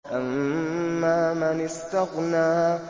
أَمَّا مَنِ اسْتَغْنَىٰ